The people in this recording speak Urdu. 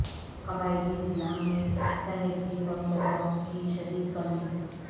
قبائلی اضلاع میں صحت کی سہولتوں کی شدید کمی